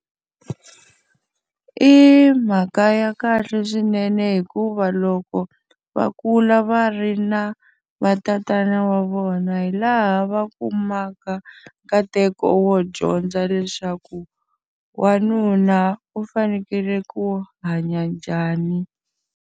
I mhaka ya kahle swinene hikuva loko va kula va ri na vatatana wa vona hi laha va kumaka, nkateko wo dyondza leswaku wanuna u fanekele ku hanya njhani.